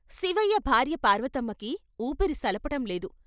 శివయ్య భార్య పార్వతమ్మకి ఊపిరి సలపటంలేదు.